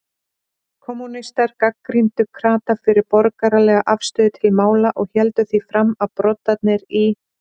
Kommúnistar gagnrýndu krata fyrir borgaralega afstöðu til mála og héldu því fram, að broddarnir í